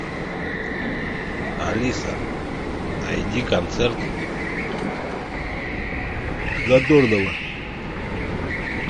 алиса найди концерт задорнова